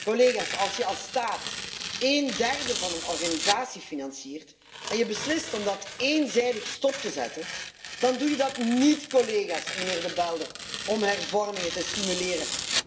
Collega's, als je als staat één derde van een organisatie financiert en je beslist om dat eenzijdig stop te zetten, dan doe je dat niet, collega's en meneer De Belder, om hervormingen te stimuleren.